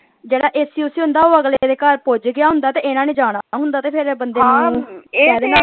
ਜਿਹੜਾ AC ਊਸੀ ਹੁੰਦਾ ਉਹ ਅਗਲੇ ਦੇ ਘਰ ਪੁੱਜ ਗਿਆ ਹੁੰਦਾ ਤੇ ਇਹਨਾਂ ਨੇ ਜਾਣਾ ਹੁੰਦਾ ਤੇ ਫੇਰ ਇਹ ਬੰਦੇ .